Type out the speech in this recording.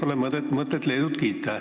Nii et pole mõtet Leedut kiita.